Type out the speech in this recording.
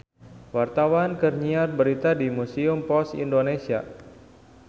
Wartawan keur nyiar berita di Museum Pos Indonesia